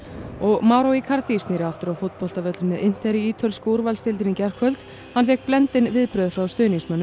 og Mauro Icardi snéri aftur á fótboltavöllinn með inter í ítölsku úrvalsdeildinni í gærkvöld hann fékk blendin viðbrögð frá stuðningsmönnum